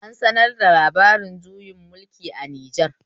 An sanar da labarin juyin mulki a Nijar